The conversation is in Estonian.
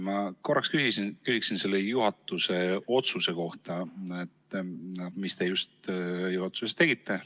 Ma korraks küsiksin selle otsuse kohta, mis te just juhatuses tegite. ...